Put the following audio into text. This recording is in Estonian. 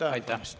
Aitäh!